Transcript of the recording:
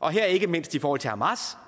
og her ikke mindst i forhold til hamas